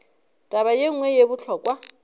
taba ye nngwe ye bohlokwa